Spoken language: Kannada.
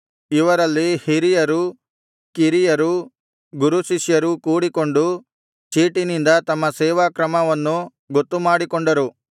ಇವರಲ್ಲಿ ಹಿರಿಯರು ಕಿರಿಯರು ಗುರುಶಿಷ್ಯರೂ ಕೂಡಿಕೊಂಡು ಚೀಟಿನಿಂದ ತಮ್ಮ ಸೇವಾ ಕ್ರಮವನ್ನು ಗೊತ್ತುಮಾಡಿಕೊಂಡರು